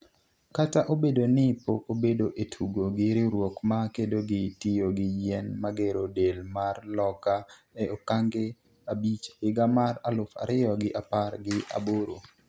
kata obedo ni pok obedo e tugo gi riwruok ma kedo gi tiyo gi yien magero del mar Loka e okange abich higa mar aluf ariyo gi apar gi aboro